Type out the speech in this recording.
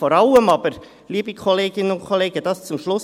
Vor allem aber – das zum Schluss: